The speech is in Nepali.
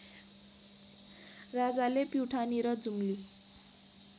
राजाले प्युठानी र जुम्ली